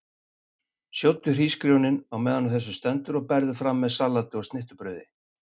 Sjóddu hrísgrjónin á meðan á þessu stendur og berðu fram með salati og snittubrauði.